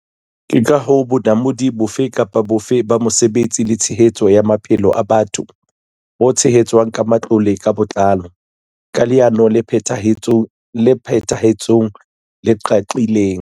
Ke ka hoo bonamodi bofe kapa bofe ba mosebetsi le tshehetso ya maphelo a batho bo tshehetswang ka matlole ka botlalo, ka leano la phethahatso le qaqileng.